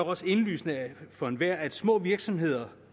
også indlysende for enhver at små virksomheder